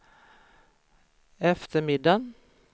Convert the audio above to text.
eftermiddag